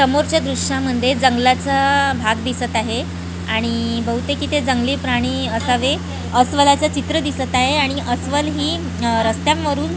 समोरच्या दृश्यांमध्ये जंगलाचा भाग दिसत आहे आणि बहुतेक इथे जंगली प्राणी असावेत अस्वलाचे चित्र दिसत आहे आणि अस्वल ही रस्त्यांवरून--